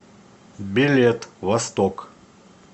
билет восток